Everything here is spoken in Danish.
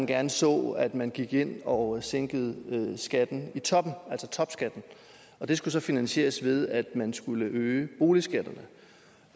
gerne så at man gik ind og sænkede skatten i toppen altså topskatten og det skulle så finansieres ved at man skulle øge boligskatterne